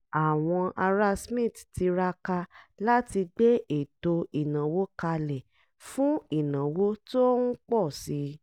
àwọn ará smith tiraka láti gbé ètò ìnáwó kalẹ̀ fún ìnáwó tó ń pọ̀ sí i